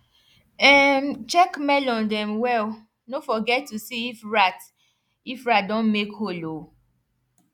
um check melon dem well no forget to see if rat if rat don make hole o